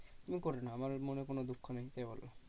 তুমি করে নাও আমার মনে কোনো দুঃখ নেই এই বলে।